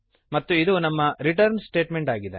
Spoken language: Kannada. ಮತ್ತು ಇದು ನಮ್ಮ ರಿಟರ್ನ್ ಸ್ಟೇಟಮೆಂಟ್ ಆಗಿದೆ